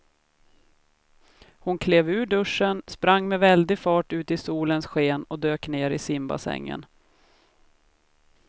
Hon klev ur duschen, sprang med väldig fart ut i solens sken och dök ner i simbassängen.